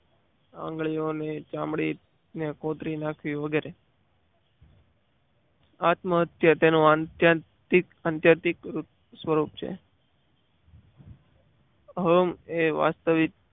આંગળીઓની ચામડી ની કોથળી નાખવી વગેરે આત્મહત્યા તેનો અંત્યાદિત સ્વરૂપ છે. અહમ એ વાસ્તવિક